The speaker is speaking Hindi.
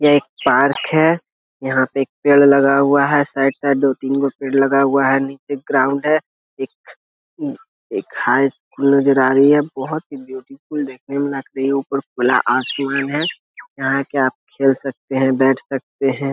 यह एक पार्क है। यहाँ पे एक पेड़ लगा हुआ है। साइड-साइड दो-तीन गो पेड़ लगा हुआ है। नीचे ग्राउंड है। एक अ एक हाईस्कूल नज़र आ रही है। बोहोत ही ब्यूटीफुल देखने में लग रही है। ऊपर खुला आसमान है। यहाँ आके आप खेल सकते हैं बैठ सकते हैं।